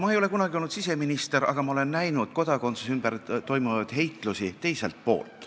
Ma ei ole kunagi olnud siseminister, aga ma olen näinud kodakondsuse ümber toimunud heitlusi teiselt poolt.